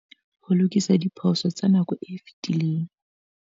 Ho lokisa diphoso tsa nako e fetileng.